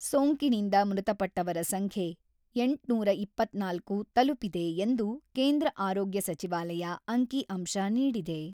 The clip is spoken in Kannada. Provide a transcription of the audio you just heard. ಸೋಂಕಿನಿಂದ ಮೃತಪಟ್ಟವರ ಸಂಖ್ಯೆ ಎಂಟುನೂರ ಇಪ್ಪತ್ತ್ನಾಲ್ಕು ತಲುಪಿದೆ ಎಂದು ಕೇಂದ್ರ ಆರೋಗ್ಯ ಸಚಿವಾಲಯ ಅಂಕಿ ಅಂಶ ನೀಡಿದೆ.